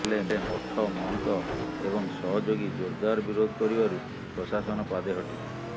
ହେଲେ ମଠ ମହନ୍ତ ଏବଂ ସହଯୋଗୀ ଜୋରଦାର ବିରୋଧ କରିବାରୁ ପ୍ରଶାସନ ପାଦେ ହଟିଛି